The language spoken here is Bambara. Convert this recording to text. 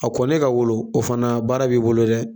A kɔnnen ka wolo o fana baara b'i bolo dɛ.